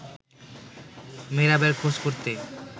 মেহেরাবের খোঁজ করতে